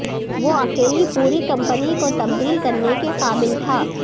وہ اکیلی پوری کمپنی کو تبدیل کرنے کے قابل تھا